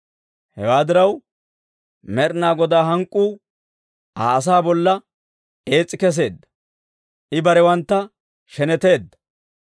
Hewaa diraw, Med'inaa Godaa hank'k'uu, Aa asaa bolla ees's'i keseedda; I barewantta sheneteedda.